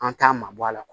An t'a mabɔ a la